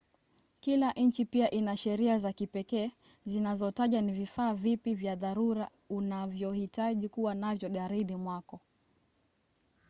kila nchi pia ina sheria za kipekee zinazotaja ni vifaa vipi vya dharura unavyohitaji kuwa navyo garini mwako